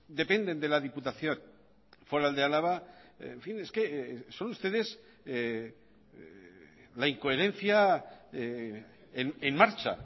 dependen de la diputación foral de álava en fin es que son ustedes la incoherencia en marcha